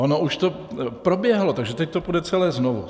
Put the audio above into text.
Ono už to proběhlo, takže teď to půjde celé znovu.